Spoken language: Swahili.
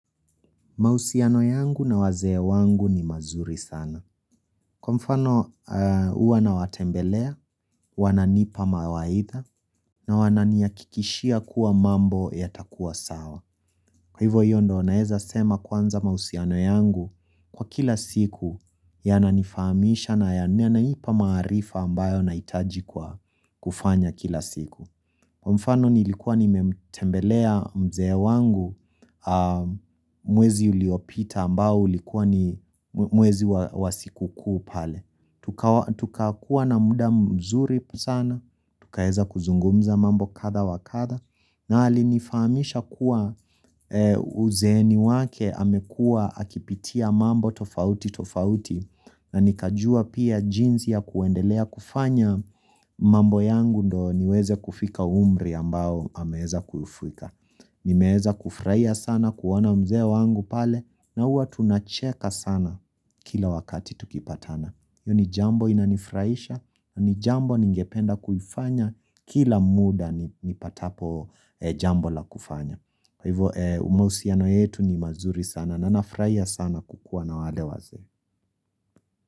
Mahusiano yangu na wazee wangu ni mazuri sana. Kwa mfano, huwa nawatembelea, wananipa mawaidha, na wananihakikishia kuwa mambo yatakua sawa. Kwa hivyo hio ndio, naeza sema kwanza mahusiano yangu kwa kila siku yananifaamisha na yananipa maarifa ambayo nahitaji kwa kufanya kila siku. Kwa mfano nilikuwa nimemtembelea mzee wangu, mwezi uliopita ambao ulikuwa ni mwezi wa siku kuu pale. Tukakuwa na muda mzuri sana, tukaeza kuzungumza mambo kadhaa wa kadhaa, na alinifaamisha kuwa uzeeni wake amekua akipitia mambo tofautitofauti, na nikajua pia jinsi ya kuendelea kufanya mambo yangu ndio niweze kufika umri ambao ameeza kufika. Nimeeza kufurahia sana kuona mzee wangu pale na huwa tunacheka sana kila wakati tukipatana. Hio ni jambo inanifurahisha na ni jambo ningependa kuifanya kila muda nipatapo jambo la kufanya. Hivo mahusiano yetu ni mazuri sana na nafurahia sana kukuwa na wale wazee.